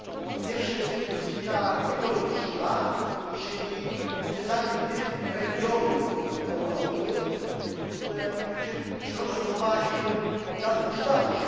Po pierwsze, jest to turystyka ekologiczna, czyli odwiedzanie tych regionów Europy, gdzie przyroda zachowała się w dawnym kształcie.